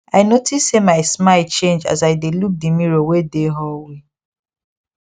i notice say my smile change as i dae look the mirror wae dae hallway